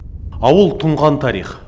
ауыл тұнған тарих